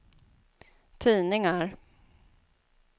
tidningar